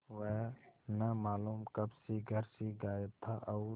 वह न मालूम कब से घर से गायब था और